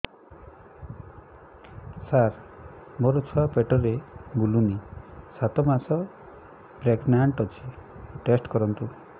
ସାର ମୋର ଛୁଆ ପେଟରେ ବୁଲୁନି ସାତ ମାସ ପ୍ରେଗନାଂଟ ଅଛି ଟେଷ୍ଟ କରନ୍ତୁ